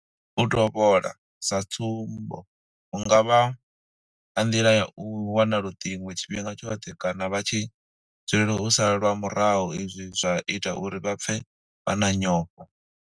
U tovhola, sa tsumbo hu nga vha nga nḓila ya u wana luṱingo tshifhinga tshoṱhe kana vha tshi dzulela u salwa murahu izwi zwa ita uri vha pfe vha na nyofho.